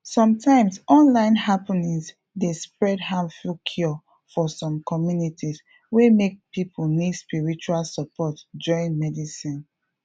sometimes online happening dey spread harmful cure for some communities wey make people need spiritual support join medicine